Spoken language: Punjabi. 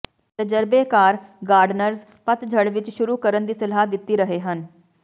ਤਜਰਬੇਕਾਰ ਗਾਰਡਨਰਜ਼ ਪਤਝੜ ਵਿੱਚ ਸ਼ੁਰੂ ਕਰਨ ਦੀ ਸਲਾਹ ਦਿੱਤੀ ਰਹੇ ਹਨ